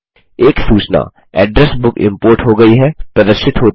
एक सूचना address book import हो गयी है प्रदर्शित होती है